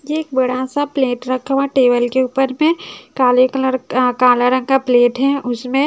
एक बड़ा सा प्लेट रखा हुआ टेबल के ऊपर मे काले कलर का काला रंग का प्लेट है उसमें--